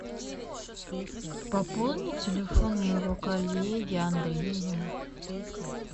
пополни телефон моего коллеги андрея